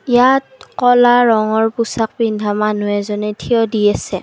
ইয়াত ক'লা ৰঙৰ পোচাক পিন্ধা মানুহ এজনে থিয় দি আছে।